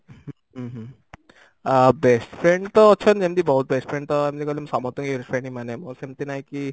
ଉଁ ହୁଁ ଆ best friend ତ ଅଛନ୍ତି ଏମିତି ବହୁତ best friend ତ ଏମିତି କହିଲେ ମୁଁ ସମସ୍ତଙ୍କୁ best friend ହିଁ ମାନେ ମୋର ସେମିତି ନାହିଁ କି